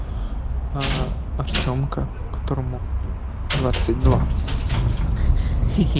аа артёмка которому двадцать два хи-хи